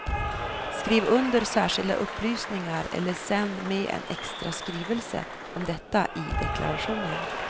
Skriv under särskilda upplysningar eller sänd med en extra skrivelse om detta i deklarationen.